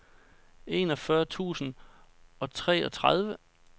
enogfyrre tusind og treogtredive